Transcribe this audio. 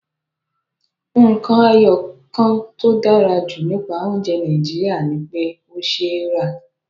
Nǹkan ẹyọ kan tó dára jù nípa oúnjẹ Nàìjíríà ni pé ó ṣeé rà